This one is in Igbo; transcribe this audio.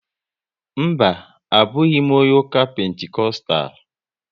Mba, abụghị m onye ụka Pentikostal